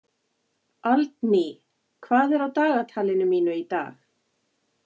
Aldný, hvað er á dagatalinu mínu í dag?